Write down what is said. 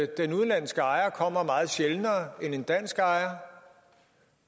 den udenlandske ejer kommer meget sjældnere end en dansk ejer